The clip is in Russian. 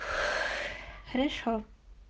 хорошо